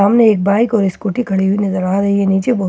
सामने एक बाइक और स्कूटी खड़ी हुई नजर आ रही है नीचे बहुत--